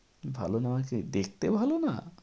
ভালো নয় কি, দেখতে ভালো না?